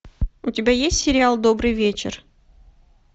у тебя есть сериал добрый вечер